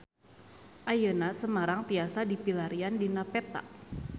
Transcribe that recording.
Ayeuna Semarang tiasa dipilarian dina peta